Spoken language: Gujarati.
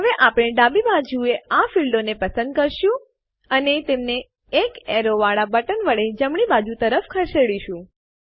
હવે આપણે ડાબી બાજુએ આ ફીલ્ડો ક્ષેત્રોને પસંદ કરીશું અને તેમને એક એરો વાળા બટન વડે જમણી બાજુ તરફ ખસેડીશું